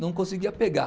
Não conseguia pegar.